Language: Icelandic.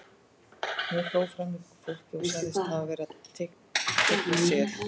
Hún hló framan í fólkið og sagðist hafa verið að teikna sel.